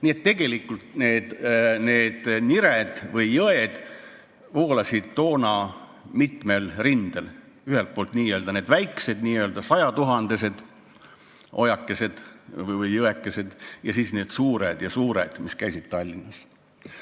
Nii et tegelikult need nired või jõed voolasid toona mitmel rindel, ühelt poolt need väiksed, n-ö sajatuhandesed ojakesed või jõekesed, ja siis need suured, mis voolasid Tallinnas.